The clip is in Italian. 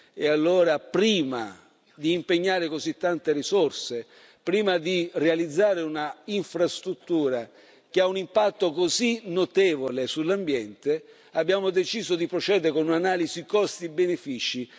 E allora, prima di impegnare così tante risorse, prima di realizzare un'infrastruttura che ha un impatto così notevole sull'ambiente, abbiamo deciso di procedere a un'analisi costi benefici.